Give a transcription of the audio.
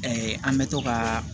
an bɛ to ka